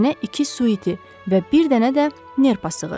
Sənə iki su iti və bir dənə də nerpa sığır.